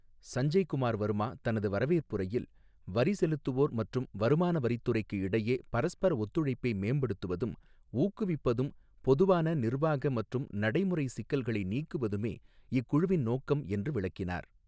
சஞ்சய் குமார் வர்மா, தனது வரவேற்புரையில், வரி செலுத்துவோர் மற்றும் வருமான வரித் துறைக்கு இடையே பரஸ்பர ஒத்துழைப்பை மேம்படுத்துவதும், ஊக்குவிப்பதும், பொதுவான நிர்வாக மற்றும் நடைமுறை சிக்கல்களை நீக்குவதுமே, இக்குழுவின் நோக்கம் என்று விளக்கினார்.